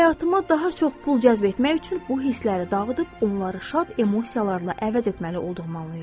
Həyatıma daha çox pul cəzb etmək üçün bu hissləri dağıdıb onları şad emosiyalarla əvəz etməli olduğumu anlayırdım.